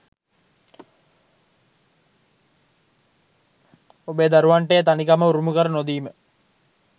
ඔබේ දරුවන්ට ඒ තනිකම උරුම කර නොදීම